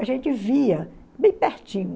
A gente via bem pertinho.